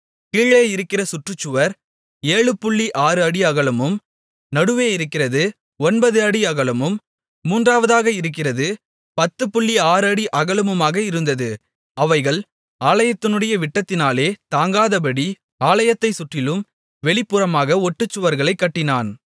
கீழே இருக்கிற சுற்றுச்சுவர் 76 அடி அகலமும் நடுவே இருக்கிறது 9 அடி அகலமும் மூன்றாவதாக இருக்கிறது 106 அடி அகலமுமாக இருந்தது அவைகள் ஆலயத்தினுடைய விட்டத்தினாலே தாங்காதபடி ஆலயத்தைச் சுற்றிலும் வெளிப்புறமாக ஒட்டுச்சுவர்களைக் கட்டினான்